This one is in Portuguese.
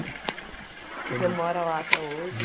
E você mora lá até hoje?